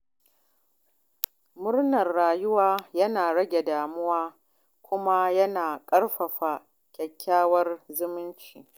Murnar rayuwa yana rage damuwa kuma yana ƙarfafa kyakkyawar zumunci.